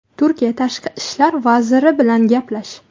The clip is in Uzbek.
Turkiya tashqi ishlar vaziri bilan gaplash.